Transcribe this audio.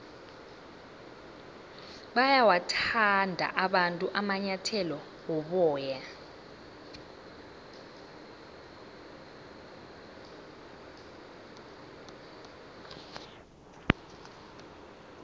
bayawathanda abantu amanyathele woboya